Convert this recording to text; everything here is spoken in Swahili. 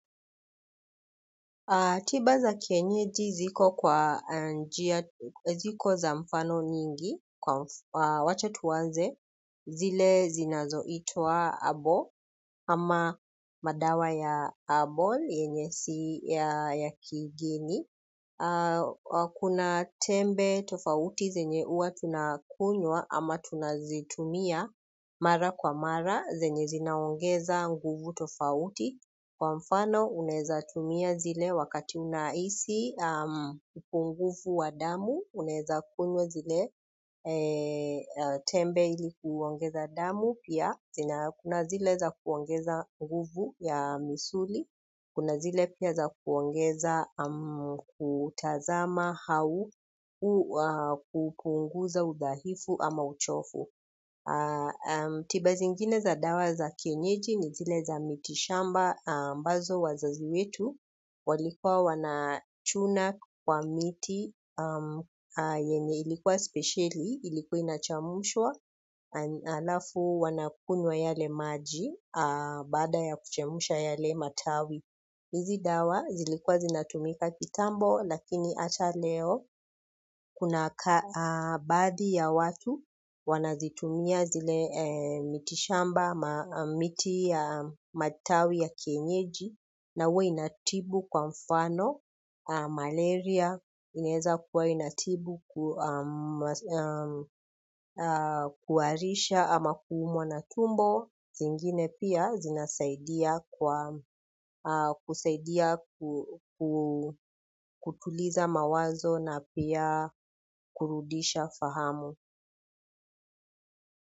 Tiba za kienyeji ziko za mfano nyingi kwa wache tuanze zile zinazoitwa habo ama madawa ya harbal yenye si ya kigeni. Kuna tembe tofauti zenye huwa tunakunywa ama tunazitumia mara kwa mara zenye zinaongeza nguvu tofauti kwa mfano unaeza tumia zile wakati unahisi upungufu wa damu unaeza kunywa zile tembe ili kuongeza damu pia zina kuna zile za kuongeza nguvu ya misuli kuna zile pia za kuongeza, kutazama au, kupunguza udhaifu ama uchovu. Tiba zingine za dawa za kienyeji ni zile za miti shamba. Ambazo wazazi wetu walikuwa wanachuna kwa miti yenye ilikuwa specieli. Ilikuwa inachemshwa alafu wanakunywa yale maji baada ya kuchemsha yale matawi hizi dawa zilikuwa zinatumika kitambo lakini hata leo kuna baadhi ya watu wanazitumia zile mitishamba miti ya matawi ya kienyeji na huwa inatibu kwa mfano malaria inaezakuwa inatibu kuharisha ama kuumwa na tumbo zingine pia zinasaidia kwa kusaidia kutuliza mawazo na pia kurudisha fahamu.